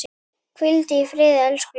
Hvíldu í friði, elsku Linda.